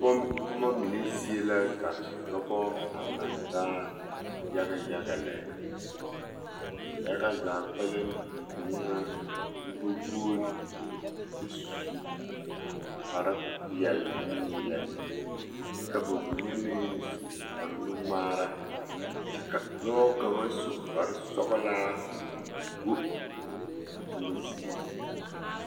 Toma mine zie la ka dɔbɔ a lantaa yaga yaga lɛ, ba yaga zaa kpɛlɛm toŋ na kuri gbɛ-wogiri kyɛ su kpare peɛle nu-meelɛ kyɛ ka bamine meŋ su kpare nu-ŋmaara kyɛ ka dɔɔ kaŋ su kpare sɔgelaa a go a toma zie.